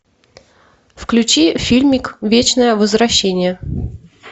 включи фильмик вечное возвращение